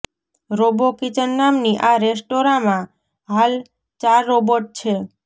robo kitchen નામની આ રેસ્ટોરાંમાં હાલ ચાર રોબોટ છે